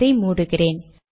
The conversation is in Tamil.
இதை மூடுகிறேன்